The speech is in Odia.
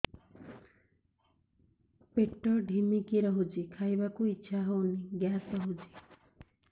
ପେଟ ଢିମିକି ରହୁଛି ଖାଇବାକୁ ଇଛା ହଉନି ଗ୍ୟାସ ହଉଚି